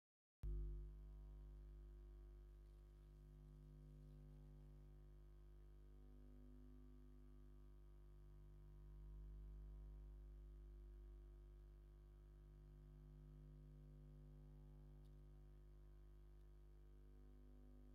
ዝተፈላለዩ ዓይነት ማሽናት ዝተፈላለዩ ስራሕቲ ንምስራሕ ይጠቅሙና፡፡ ንአነት ሃሳስ ሊላ ሕብሪ ዘለዋ ትሮድንት ዝብል ብፃዕዳ ተፃሒፉ አብ ቀይሕን ፀሊምን ላብ ቶፕ ጥቃ ተቀሚጣ ትርከብ፡፡